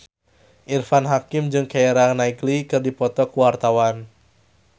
Irfan Hakim jeung Keira Knightley keur dipoto ku wartawan